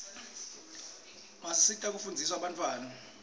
basisita kufunzisa bantfwana